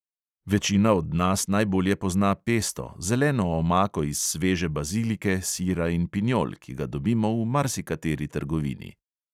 Večina od nas najbolje pozna pesto, zeleno omako iz sveže bazilike, sira in pinjol, ki ga dobimo v marsikateri trgovini.